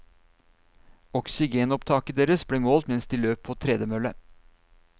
Oksygenopptaket deres ble målt mens de løp på tredemølle.